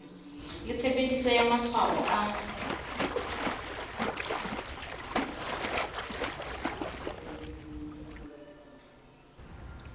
le tshebediso ya matshwao a